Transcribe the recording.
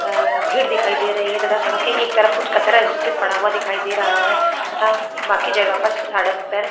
आ भीड़ दिखाई दे रही है तथा सड़क के एक तरफ कुछ कचरा जिससे पड़ा हुआ दिखाई दे रहा है तथा बाकी जगह सड़क पर --